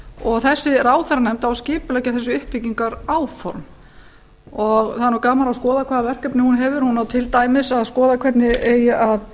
og þessi ráðherranefnd á að skipuleggja þessi uppbyggingaráform það er nú gaman að skoða hvaða verkefni hún hefur hún á til dæmis að skoða hvernig eigi að